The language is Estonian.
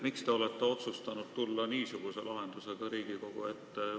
Miks te olete otsustanud niisuguse lahendusega Riigikogu ette tulla?